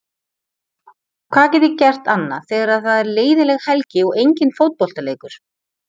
Hvað get ég gert annað þegar það er leiðinleg helgi og engin fótboltaleikur?